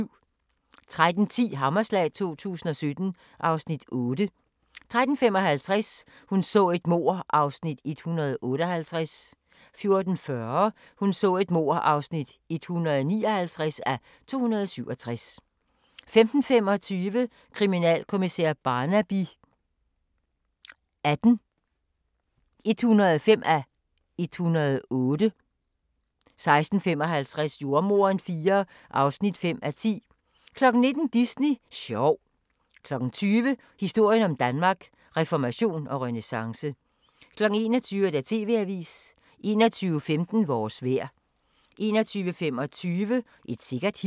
13:10: Hammerslag 2017 (Afs. 8) 13:55: Hun så et mord (158:267) 14:40: Hun så et mord (159:267) 15:25: Kriminalkommissær Barnaby XVIII (105:108) 16:55: Jordemoderen IV (5:10) 19:00: Disney sjov 20:00: Historien om Danmark: Reformation og renæssance 21:00: TV-avisen 21:15: Vores vejr 21:25: Et sikkert hit